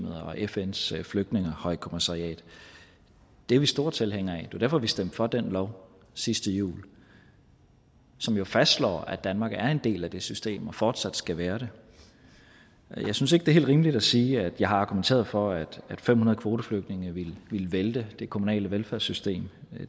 og fns flygtningehøjkommissariat det er vi store tilhængere af og det jo derfor at vi stemte for den lov sidste jul som jo fastslår at danmark er en del af det system og fortsat skal være det jeg synes ikke er helt rimeligt at sige at jeg har argumenteret for at fem hundrede kvoteflygtninge ville vælte det kommunale velfærdssystem